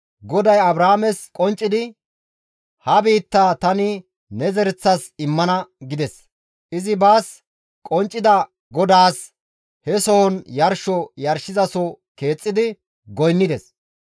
GODAY Abraames qonccidi, «Ha biittaa tani ne zereththas immana» gides; izi baas qonccida GODAAS he sohon yarsho yarshizaso keexxidi goynnides.